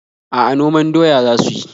A'a, noman doya za su yi.